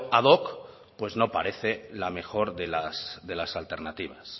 ad hoc pues no parece la mejor de las alternativas